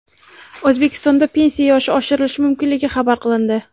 O‘zbekistonda pensiya yoshi oshirilishi mumkinligi xabar qilindi .